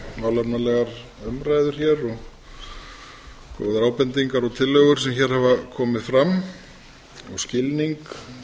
málefnalegar umræður hér og góðar ábendingar og tillögur sem hér hafa komið fram og skilning